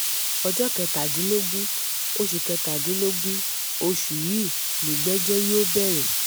ọjọ́ kẹtàdínlógún oṣù kẹtàdínlógún oṣù yìí nìgbẹ́jọ́ yóò bẹ̀rẹ̀